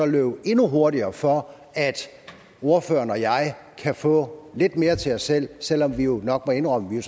løbe endnu hurtigere for at ordføreren og jeg kan få lidt mere til os selv selv om vi jo nok må indrømme